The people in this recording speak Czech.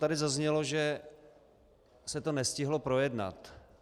Tady zaznělo, že se to nestihlo projednat.